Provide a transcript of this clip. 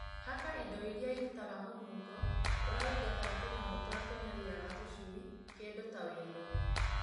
Haka indo iria irutaga mũnungo ũrĩa ũingataga tũnyamũ tũrĩa tũnyariraga tũcui kĩndũ ta ũiro.